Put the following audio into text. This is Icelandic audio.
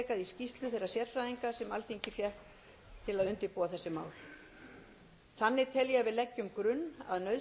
í skýrslu þeirra sérfræðinga sem alþingi fékk til að undirbúa þessi mál þannig tel ég að við leggjum grunn að nauðsynlegum